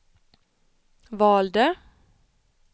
valde